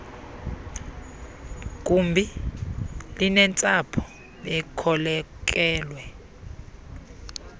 gumbi linentsapho bekhokelwe